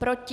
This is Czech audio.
Proti?